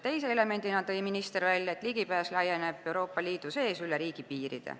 Teise elemendina tõi minister välja, et ligipääs laieneb Euroopa Liidu sees üle riigipiiride.